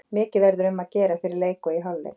Mikið verður um að gera fyrir leik og í hálfleik.